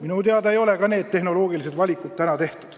Minu teada ei ole tehnoloogilised valikud seni tehtud.